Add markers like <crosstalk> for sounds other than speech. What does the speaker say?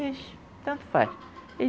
<unintelligible> tanto faz.